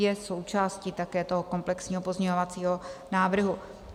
Je součástí také toho komplexního pozměňovacího návrhu.